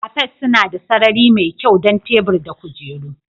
Cafes suna da sarari mai kyau don tebur da kujeru